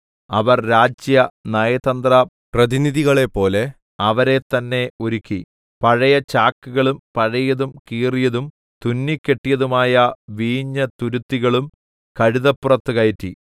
അവര്‍ രാജ്യ നയതന്ത്ര പ്രതിനിധികളെപ്പോലെ അവരെ തന്നെ ഒരുക്കി പഴയ ചാക്കുകളും പഴയതും കീറിയതും തുന്നിക്കെട്ടിയതുമായ വീഞ്ഞുതുരുത്തികളും കഴുതപ്പുറത്തു കയറ്റി